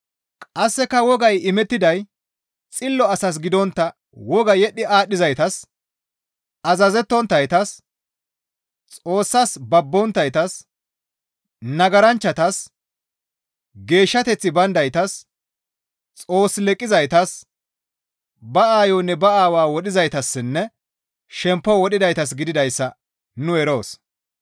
Qasseka wogay imettiday xillo asas gidontta wogaa yedhdhi aadhdhizaytas, azazettonttaytas, Xoossas babbonttaytas, nagaranchchatas, geeshshateththi bayndaytas, Xoos leqqizaytas, ba aayonne ba aawaa wodhizaytassinne shemppo wodhizaytas gididayssa nu eroos.